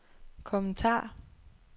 kommentar